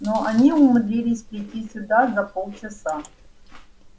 но они умудрились прийти сюда за полчаса